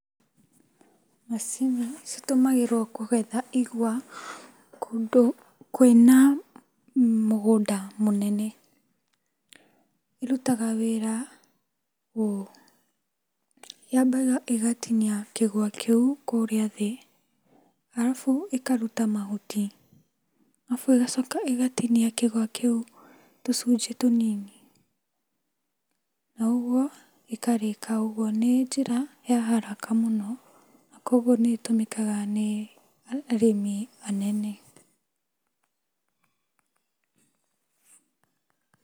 Macini citũmagĩrwo kũgetha igwa kũndũ kwĩna mũgũnda mũnene. Irutaga wĩra ũũ. Yambaga igatinia kĩgwa kĩu kũrĩa thĩ, arafu ĩkaruta mahuti, arabu ĩgacoka ĩgatinia kĩgwa kĩu tũcunjĩ tũnini. Naũgwo, ĩkarĩka ũgwo. Nĩnjĩra yaharaka mũno, na kuogwo nĩĩtũmĩkaga nĩ arĩmi anene.